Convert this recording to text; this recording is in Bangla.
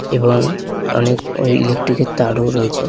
এবং অনেকই-লেকট্রিক এর তারও রয়েছে ।